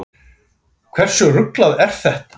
Hversu ruglað er þetta?